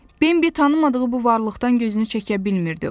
Bembi tanımadığı bu varlıqdan gözünü çəkə bilmirdi.